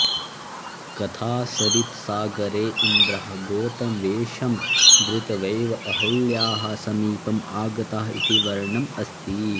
कथासरित्सागरे इन्द्रः गौतमवेषमधृत्वैव अहल्यायाः समीपम् आगतः इति वर्णनम् अस्ति